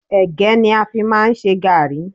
Ẹ̀gẹ́ ni a fi máà ń ṣe gàrrí.